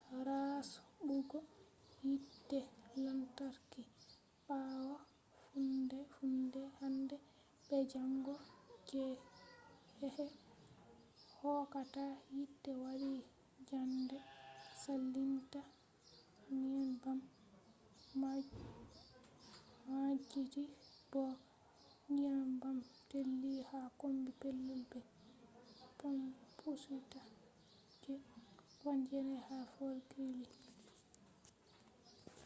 rasɓugo yite lantarki ɓawo foonde-foonde hande be jango je keeke hokkata yite wati njamɗe salinta nyebbam maɓɓiti bo nyebbam teeli ha kombi pellel be pampusitta je 9 ha fort greely